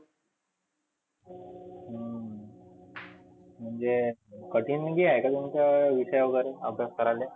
हम्म म्हणजे कठीन मध्ये आहे का तुमच विषय वगैरे? अभ्यास करायले?